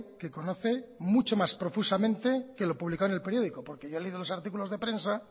que conoce mucho más profusamente que lo publicado en el periódico porque yo he leído los artículos de prensa